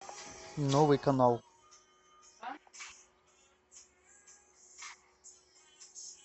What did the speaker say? новый канал